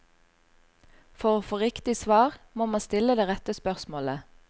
For å få riktig svar, må man stille det rette spørsmålet.